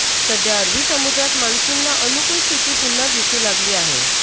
सध्या अरबी समुद्रात मान्सूनला अनुकुल स्थिती पुन्हा दिसू लागली आहे